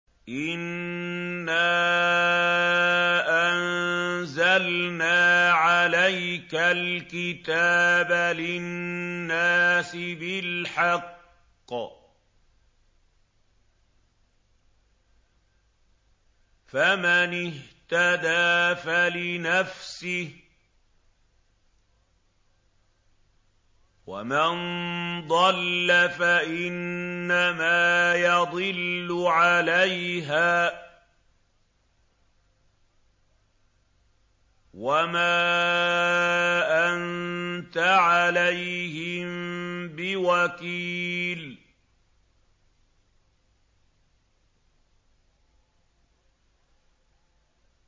إِنَّا أَنزَلْنَا عَلَيْكَ الْكِتَابَ لِلنَّاسِ بِالْحَقِّ ۖ فَمَنِ اهْتَدَىٰ فَلِنَفْسِهِ ۖ وَمَن ضَلَّ فَإِنَّمَا يَضِلُّ عَلَيْهَا ۖ وَمَا أَنتَ عَلَيْهِم بِوَكِيلٍ